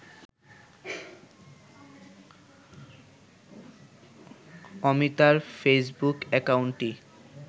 অমৃতার Facebook অ্যাকাউন্টটি